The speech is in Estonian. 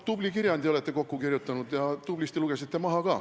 Tubli kirjandi olete kokku kirjutanud ja tublisti lugesite ka maha.